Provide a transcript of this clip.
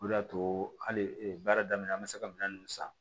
O de y'a to hali baara daminɛ an bɛ se ka minɛn ninnu san